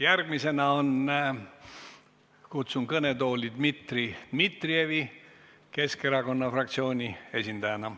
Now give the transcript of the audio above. Järgmisena kutsun kõnetooli Dmitri Dmitrijevi Keskerakonna fraktsiooni esindajana.